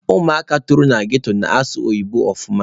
Ụmụaka toro na GRA na-asụ oyibo ọfụma.